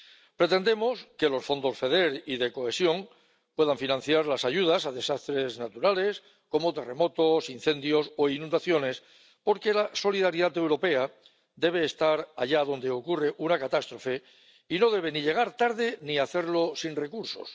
Pretendemos que el FEDER y el Fondo de Cohesión puedan financiar las ayudas a desastres naturales como terremotos, incendios o inundaciones, porque la solidaridad europea debe estar allá donde ocurre una catástrofe y no debe ni llegar tarde ni hacerlo sin recursos.